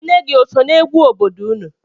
Nne gị o so n'egwu obodo unu?